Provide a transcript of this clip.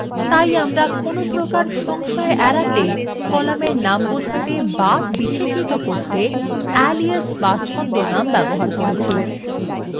তাই আমরা কোনপ্রকার সংশয় এড়াতে কলামের names বোঝাতে so বিশেষিত করতে alias ছদ্মনাম ব্যবহার করবো